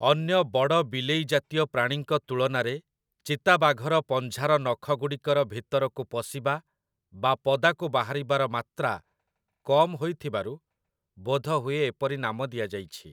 ଅନ୍ୟ ବଡ଼ ବିଲେଇ ଜାତୀୟ ପ୍ରାଣୀଙ୍କ ତୁଳନାରେ ଚିତାବାଘର ପଞ୍ଝାର ନଖଗୁଡ଼ିକର ଭିତରକୁ ପଶିବା ବା ପଦାକୁ ବାହାରିବାର ମାତ୍ରା କମ୍ ହୋଇଥିବାରୁ ବୋଧହୁଏ ଏପରି ନାମ ଦିଆଯାଇଛି ।